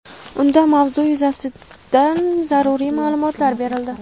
Unda mavzu yuzasidan zaruriy ma’lumotlar berildi.